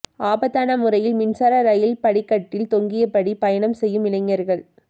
ஆபத்தான முறையில் மின்சார ரயில் படிக்கட்டில் தொங்கியபடி பயணம் செய்யும் இளைஞர்கள்